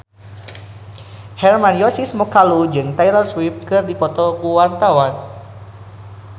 Hermann Josis Mokalu jeung Taylor Swift keur dipoto ku wartawan